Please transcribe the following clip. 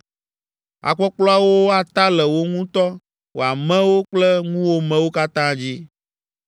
Akpɔkplɔawo ata le wò ŋutɔ, wò amewo kple ŋuwòmewo katã dzi.’ ”